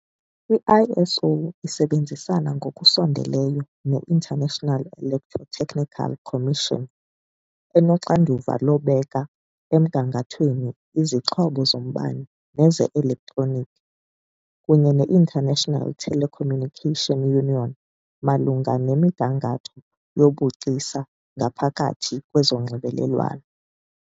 I-ISO isebenzisana ngokusondeleyo ne- International Electrotechnical Commission, enoxanduva lokubeka emgangathweni izixhobo zombane neze-elektroniki, kunye ne- International Telecommunication Union malunga nemigangatho yobugcisa ngaphakathi kwezonxibelelwano .